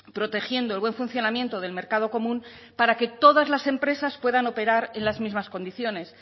protegiendo el buen funcionamiento del mercado común para que todas las empresas puedan operar en las mismas condiciones